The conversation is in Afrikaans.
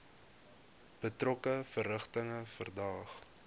betrokke verrigtinge verdaag